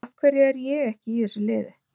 Af hverju er ég ekki í þessu liði?